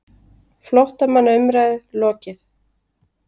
FLÓTTAMANNA UMRÆÐU LOKIÐ